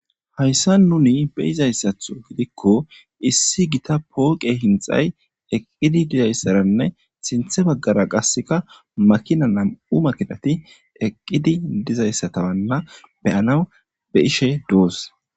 Hayssan nuuni be'izayssato giddiko issi Gita poqqe hinxxay eqqidi dizayssanne sinththe bagara qasakka nam''u makkinatti eqqidi dizayssittanne be'annaw be'ashe doos.